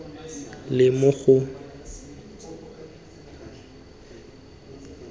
le mo go tsa setso